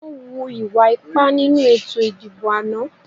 Wọ́n hu ìwà ipá nínú ètò ìdìbò àná